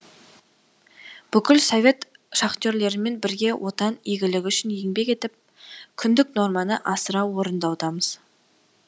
бүкіл совет шахтерлерімен бірге отан игілігі үшін еңбек етіп күндік норманы асыра орындаудамыз